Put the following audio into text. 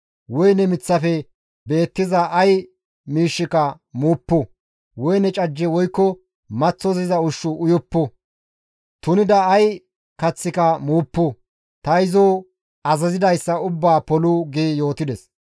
Woyne miththafe beettiza ay miishshika muuppu; woyne cajje woykko maththosiza ushshu uyuppu; tunida ay kaththika muuppu; ta izo azazidayssa ubbaa polu» gi yootides.